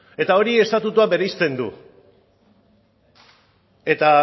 eta hori estatutuak bereizten du eta